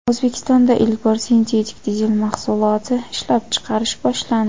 O‘zbekistonda ilk bor sintetik dizel mahsuloti ishlab chiqarish boshlandi.